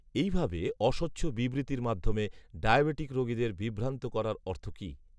এই ভাবে, অস্বচ্ছ বিবৃ্তির মাধ্যমে, ডায়াবিটিক রোগীদের, বিভ্রান্ত করার, অর্থ কি